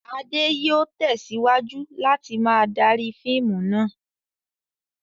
Adé yóò tẹ̀síwájú láti máa darí fíìmù náà.